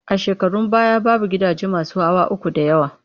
A shekarun baya, babu gidaje masu hawa uku da yawa